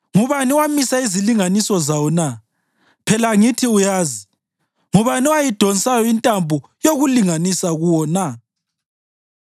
Ngubani owamisa izilinganiso zawo na? Phela angithi uyazi! Ngubani owayidonsayo intambo yokulinganisa kuwo na?